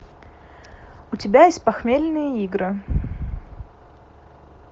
у тебя есть похмельные игры